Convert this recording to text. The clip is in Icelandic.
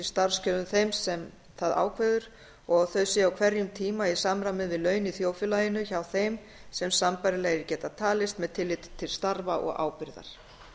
starfskjörum þeim sem það ákveður og að þau séu á hverjum tíma í samræmi við laun í þjóðfélaginu hjá þeim sem sambærilegir geta talist með tilliti til starfa og ábyrgðar